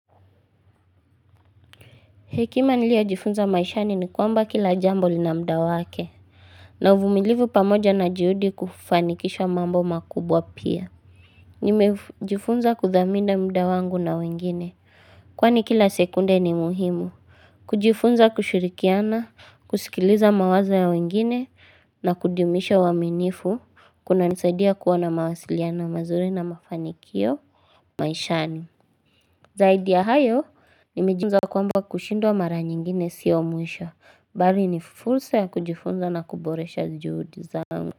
Hekima niliyo jifunza maishani ni kwamba kila jambo linamda wake na uvumilivu pamoja na juhudi kufanikisha mambo makubwa pia Nimejifunza kuthamini mda wangu na wengine Kwani kila sekunde ni muhimu kujifunza kushirikiana kusikiliza mawazo ya wengine na kudumisha uaminifu Kuna nisaidia kuwa na mawasiliano mazuri na mafanikio maishani Zaidi ya hayo nime jifunza kwamba kushindwa mara nyingine siyo mwisho, bali ni fursa ya kujifunza na kuboresha juhudi zangu.